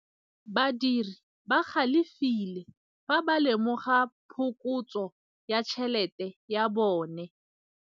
Badiri ba galefile fa ba lemoga phokotsô ya tšhelête ya bone.